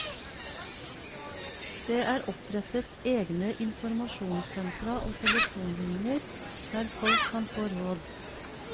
Det er opprettet egne informasjonssentra og telefonlinjer der folk kan få råd.